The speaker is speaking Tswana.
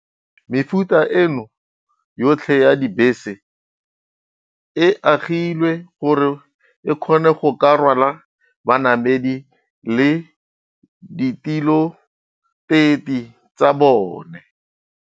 Mefuta eno yotlhe ya dibese e agilwe gore e kgone go ka rwala banamedi le ditiloteti tsa bone.